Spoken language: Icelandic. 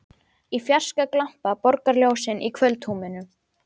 Í fjarska glampa borgarljósin í kvöldhúminu.